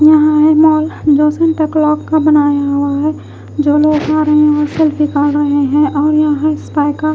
यहां है मॉल जो सेंटाक्लॉज का बनाया हुआ है जो लोग आ रहे हैं वो रहे हैं और यहां स्पाई का--